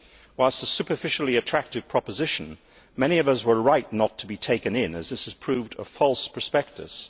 Whilst a superficially attractive proposition, many of us were right not to be taken in as this has proved a false prospectus.